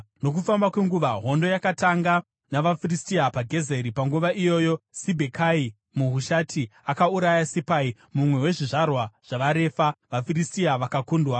Nokufamba kwenguva, hondo yakatanga navaFiristia paGezeri. Panguva iyoyi Sibhekai muHushati akauraya Sipai, mumwe wezvizvarwa zvavaRefa, vaFiristia vakakundwa.